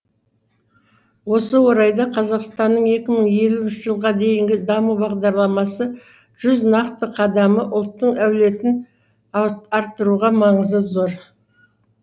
осы орайда қазақстанның екі мың елуінші жылға дейінгі даму бағдарламасы жүз нақты қадамы ұлттың әулетін арттыруда маңызы зор